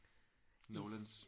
Nolans